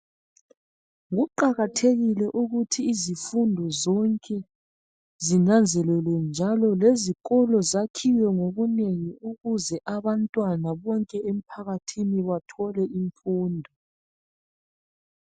Kuqakathelile ukuthi izifundo zonke, zinanzelelwe, njalo leezikolo zakhiwe ngobunengi ukuze abantwana bonke emphakathini bathole imfundo.